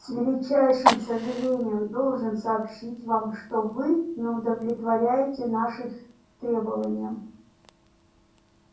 с величайшим сожалением должен сообщить вам что вы не удовлетворяете наших требованиям